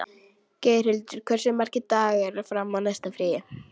Geirhildur, hversu margir dagar fram að næsta fríi?